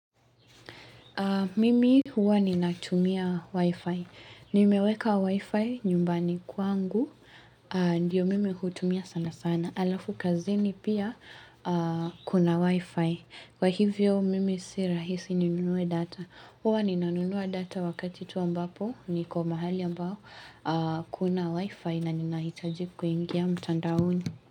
Mimi huwa ninatumia wifi. Nimeweka wifi nyumbani kwangu. Ndiyo mimi hutumia sana sana. Alafu kazini pia kuna wifi. Kwa hivyo mimi si rahisi ninunue data. Huwa ninanunua data wakati tu ambapo niko mahali ambao hakuna wifi na ninahitaji kuingia mtandaoni.